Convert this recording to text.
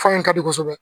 Fan in ka di kosɛbɛ